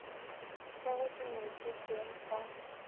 ka ge di ngwetšwe ka